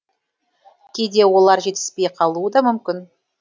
кейде олар жетіспей қалуы да мүмкін